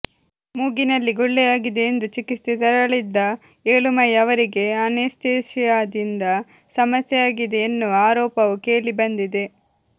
ಮೂಗಿನಲ್ಲಿ ಗುಳ್ಳೆಯಾಗಿದೆ ಎಂದು ಚಿಕಿತ್ಸೆಗೆ ತೆರಳಿದ್ದ ಏಳುಮಲೈ ಅವರಿಗೆ ಅನೇಸ್ತೇಷಿಯಾದಿಂದ ಸಮಸ್ಯೆಯಾಗಿದೆ ಎನ್ನುವ ಆರೋಪವೂ ಕೇಳಿ ಬಂದಿದೆ